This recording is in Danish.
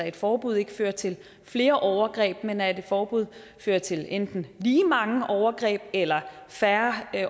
et forbud ikke fører til flere overgreb men at et forbud fører til enten lige mange overgreb eller færre